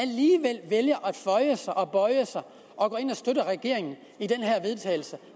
føje sig og bøje sig og går ind og støtter regeringen i den her vedtagelse